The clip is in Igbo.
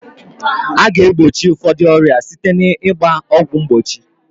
A ga egbochi ụfọdụ ọrịa site na ịgba ọgwụ mgbochi